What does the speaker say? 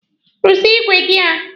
Ruzie igwe gị a!